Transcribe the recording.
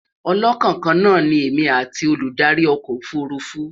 ọlọkàn kaana ní èmi atti Olùdarí ọkọ òfurufú